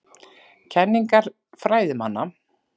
Kenningar fræðimanna.